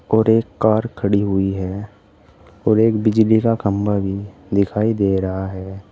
और एक कार खड़ी हुई है और एक बिजली का खंबा भी दिखाई दे रहा है।